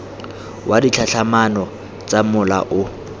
wa ditlhatlhamano tsa mola o